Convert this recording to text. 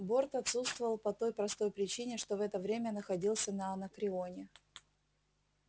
борт отсутствовал по той простой причине что в это время находился на анакреоне